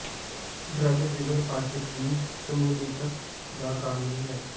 drug ਜਿਗਰ ਪਾਚਕ ਦੀ ਸ਼ਮੂਲੀਅਤ ਦਾ ਕਾਰਨ ਨਹੀ ਹੈ